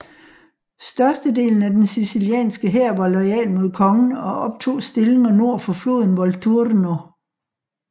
Størstedelen af den sicilianske hær var loyal mod kongen og optog stillinger nord for floden Volturno